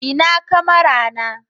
ina kamara na